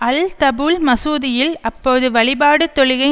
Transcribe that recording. அல் தபூல் மசூதியில் அப்போது வழிபாடு தொழுகை